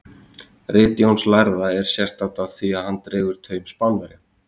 Rit Jóns lærða er sérstakt af því að hann dregur taum Spánverjanna.